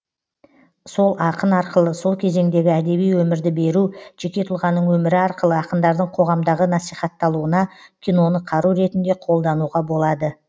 сол ақын арқылы сол кезеңдегі әдеби өмірді беру жеке тұлғаның өмірі арқылы ақындардың қоғамдағы насихатталуына киноны қару ретінде қолануға болады